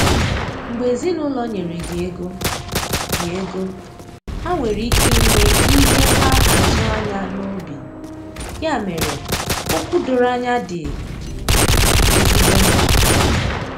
Mgbe ezinụlọ nyere gị ego, gị ego, ha nwere ike inwe ihe ha atụ anya n’obi, ya mere, okwu doro anya dị ezigbo mkpa.